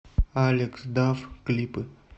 алекс даф клипы